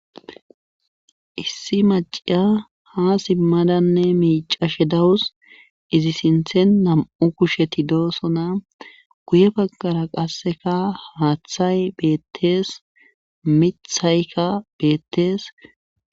issi maciya ha simmadanne miica she dawus izi sinthen nam7u kusheti doosona guye baggara qasseka haaththay beettees mithaykka beettees